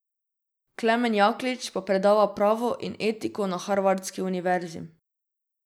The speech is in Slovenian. Klemen Jaklič pa predava pravo in etiko na harvardski univerzi.